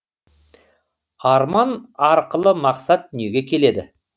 арман арқылы мақсат дүниеге келеді